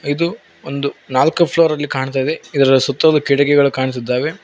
ಇದು ಒಂದು ನಾಲ್ಕು ಫ್ಲೋರಲ್ಲಿ ಕಾಣ್ತಾ ಇದೆ ಇದರ ಸುತ್ತಲು ಕಿಟ್ಟಕಿಗಳು ಕಾಣಸ್ತಾ ಇದಾವೆ.